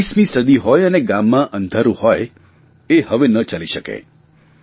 21મી સદી હોય અને ગામમાં અંધારૂં હોય એ હવે ન ચાલી શકે